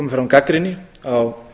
fram gagnrýni á